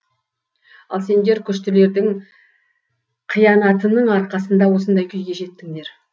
ал сендер күштілердің қиянатының арқасында осындай күйге жеттіңдер